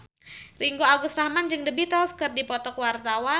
Ringgo Agus Rahman jeung The Beatles keur dipoto ku wartawan